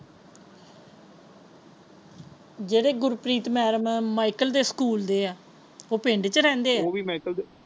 ਜਿਹੜੇ ਗੁਰਪ੍ਰੀਤ ਮੈਡਮ ਹੈ ਉਹ ਮਾਇਕਲ ਦੇ ਸਕੂਲ ਦੇ ਹੈ ਉਹ ਪਿੰਡ ਵਿੱਚ ਰਹਿੰਦੇ ਹੈ ਉਹ ਵੀ ਮਾਇਕਲ ਦੇ।